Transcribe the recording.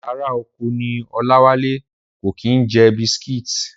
Ará oko ní Ọláwálé, kò kí ń jẹ bisitíìtì